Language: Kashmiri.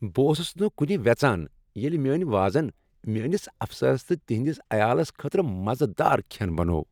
بہٕ اوسس نہٕ کُنہِ وٮ۪ژان ییٚلہ میٲنۍ وازن میٛٲنس افسرس تہٕ تہنٛدس عیالس خٲطرٕ مزٕ دار کھٮ۪ن بنوو ۔